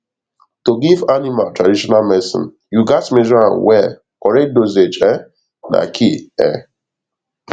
to give animal traditional medicine you gats measure am well correct dosage um na key um